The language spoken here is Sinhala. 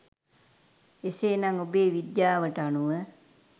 එසේ නම් ඔබේ විද්‍යාවට අනුව